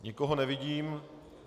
Nikoho nevidím.